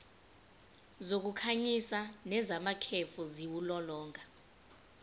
zokukhanyisa nezamakhefu ziwulolonga